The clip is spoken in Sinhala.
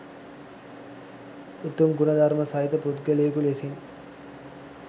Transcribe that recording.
උසස් ගුණ ධර්ම සහිත පුද්ගලයකු ලෙසින්